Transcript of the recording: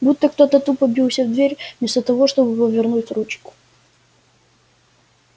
будто кто-то тупо бился в дверь вместо того чтобы повернуть ручку